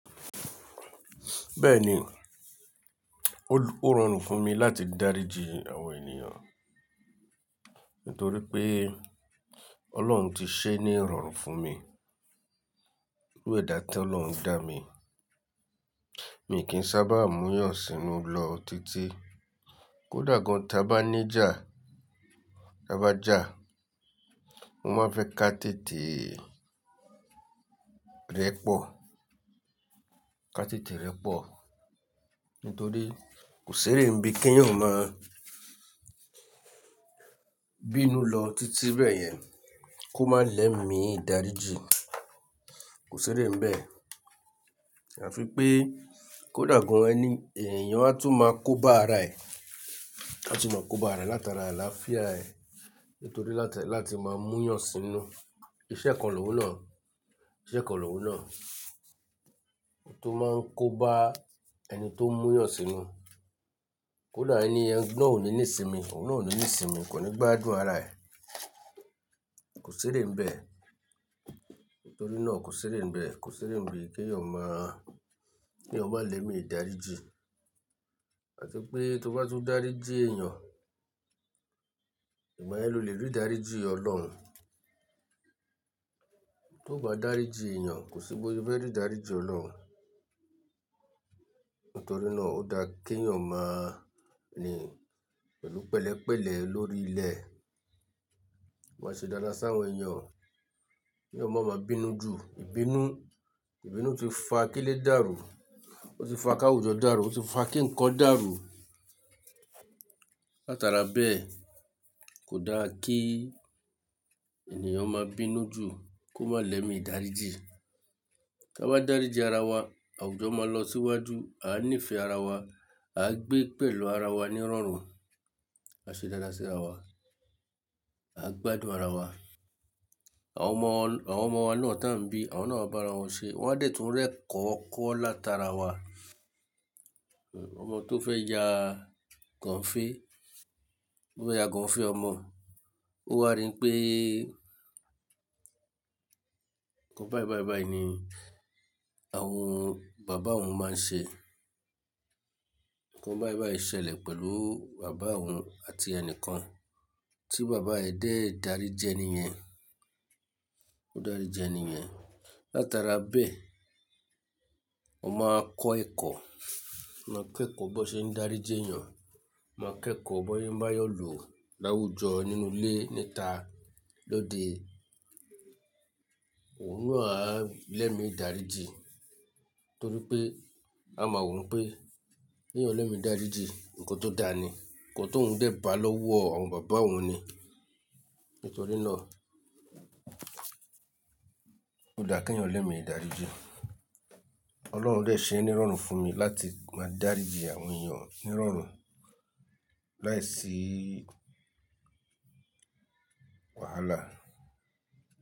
Bẹ́ẹ̀ni, ó rọrùn fún mi láti dáríji àwọn ènìyàn nítorí pé Ọlọ́run ti ṣe é ní rọrùn fún mi. Wẹ̀ dáa tí Ọlọ́run dá mi. Mi kì í sábà múyàn sínú lọ títí. Kódà gan ta bá ní jà, ta bá jà, mo máa fẹ́ ka tètè rẹ̀ pọ̀, ka tètè rẹ̀ pọ̀ nítorí kò sí rere ibi kí èèyàn má bínú lọ títí bẹ́ẹ̀ yẹn kó má lẹ́mi dáríji. Kò sí ere ibẹ̀. Àfi pé kó dàgbà ẹni, èèyàn á tún máa kó bá ara ẹ̀, á tún máa kó bá ara rẹ̀ látara àlàáfíà ẹ nítorí láti, láti máa múyàn sínú. Iṣẹ́ kan lòún náà, iṣẹ́ kan lòún náà. Ohun tó máa ń kó bá ẹni tó ń múyàn sínú. Kódà ẹni ẹn náà ò ní ní ìsinmi, òun náà ò ní ìsinmi, kò ní gbádùn ara ẹ̀. Kò sí ere ibẹ̀. Nítorí náà kò sí rere ibẹ̀, kò sí rere ibi kí èèyàn má, kí èèyàn máa lẹ́mi dáríji. Àti pé tó bá tún dáríji èèyàn, ìmaní ẹni ló lè rí dáríji Ọlọ́run. Tó bá dáríji èèyàn, kò sí bóyá o fẹ́ rí dáríji Ọlọ́run. Nítorí náà ó dáa kí èèyàn má ni pẹ̀lú pẹ̀lẹ́pẹ̀lẹ́ lórí ilẹ̀. Ó máa ṣe dáadáa sí àwọn èèyàn kí wọ́n má máa bínú jù. Ìbínú, Ìbínú ti fa kí ilé dàrú, ó ti fa ká àwùjọ dàrú, ó ti fa kí ǹkan dàrú. Látara bẹ́ẹ̀ kò dáa kí ènìyàn má bínú jù kó má lẹ́mi dáríji. Ká wá dáríji ara wa, àwùjọ máa lọ síwájú, a níìfẹ̀ẹ́ ara wa, a gbé pẹ̀lú ara wa ní rọrùn, a ṣe dáadáa sí ara wa, a gbádùn ara wa. Àwọn ọmọ, àwọn ọmọ wa náà tán bí, àwọn náà bá ara wọn ṣe, wọ́n á dẹ̀ tún rẹ̀ kọ́ ọkọ látara wa. Ọmọ tó fẹ́ ya gàn fé, tó fẹ́ ya kàn fé ọmọ, ó wá rí pé nǹkan bàìbàìbàì ni àwọn baba òun máa ń ṣe. Nǹkan bàìbàì ṣe lè pẹ̀lú bàbá òun àti ẹnìkan tí bàbá ẹ̀ dé dàrí jẹ ni ìyẹn, ó dàrí jẹ ni ìyẹn. Látara bẹ́ẹ̀, ó máa kọ́ ẹ̀kọ́, máa kẹ́kọ̀ọ́ bó ṣe ń dáríji èèyàn, máa kẹ́kọ̀ọ́ bóyín bá yọ lò láwùjọ nínú ilé níta lóde. Òun náà á lẹ́mi dáríji torí pé a mọ̀ òun pé kí èèyàn lẹ́mi dáríji nǹkan tó dáa ni, nǹkan tó ń gbẹ́ bàá lọ́wọ́ àwọn bàbá òun ni. Nítorí náà ó dáa kí ẹ̀yàn lẹ́mi dáríji. Ọlọ́run dẹ̀ ṣe é ní rọrùn fún mi láti máa dáríji àwọn èèyàn ní rọrùn láìsí wàhálà.